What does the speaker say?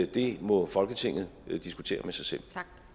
det må folketinget diskutere med sig selv